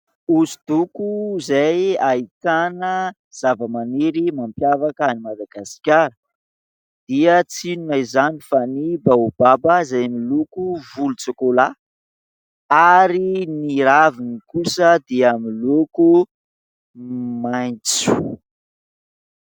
Hosodoko ,izay ahitana zava-maniry mampiavaka an'i Madagasikara ; dia tsy inona izany fa ny baobaba, izay miloko volotsokolà , ary ny raviny kosa dia miloko maitso.